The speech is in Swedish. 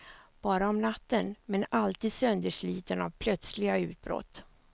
Bara om natten, men alltid söndersliten av plötsliga utbrott.